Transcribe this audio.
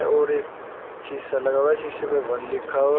और एक शीशा लगा हुआ है शीशे पे वन लिखा हुआ --